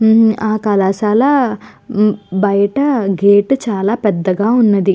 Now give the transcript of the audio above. ఉమ్ ఆ కళాశాల బయట గేట్ చాలా పెద్దగా ఉన్నది.